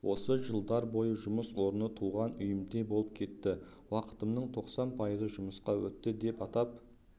осы жылдар бойы жұмыс орны туған үйімдей болып кетті уақытымның тоқсан пайызы жұмыста өтті деп атап